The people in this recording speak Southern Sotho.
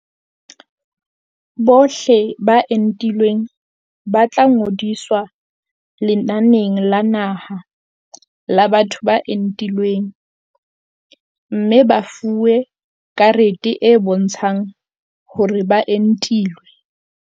Bohle ba entilweng ba tla ngodiswa lenaneng la naha la batho ba entilweng mme ba fuwe karete e bontshang hore ba entilwe.